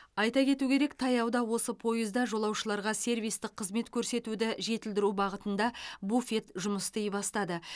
айта кету керек таяуда осы пойызда жолаушыларға сервистік қызмет көрсетуді жетілдіру бағытында буфет жұмыс істей бастады